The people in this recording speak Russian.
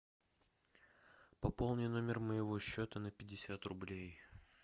пополни номер моего счета на пятьдесят рублей